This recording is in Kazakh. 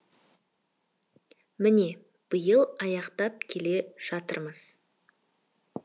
міне биыл аяқтап келе жатырмыз